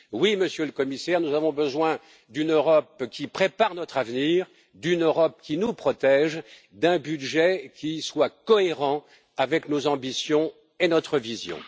Oui, Monsieur le Commissaire, nous avons besoin d'une Europe qui prépare notre avenir, d'une Europe qui nous protège, d'un budget qui soit cohérent avec nos ambitions et notre vision.